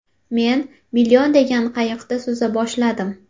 Men ‘Million’ degan qayiqda suza boshladim.